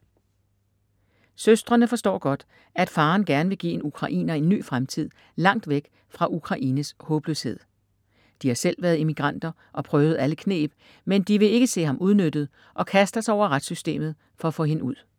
Søstrene forstår godt, at faderen gerne vil give en ukrainer en ny fremtid langt væk fra Ukraines håbløshed. De har selv være immigranter og prøvet alle kneb, men de vil ikke se ham udnyttet og kaster sig over retssystemet for at få hende ud.